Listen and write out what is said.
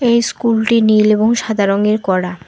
এই স্কুলটি নীল এবং সাদা রঙের করা।